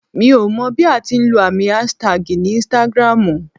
Mi ò mọ bí a ti ń lọ àmì aṣtagi ní Instagram ù.